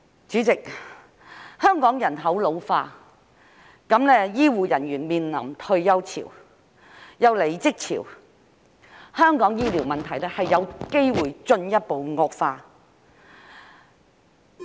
主席，香港人口老化，醫護人員面臨退休潮，又有離職潮，香港醫療問題有機會進一步惡化。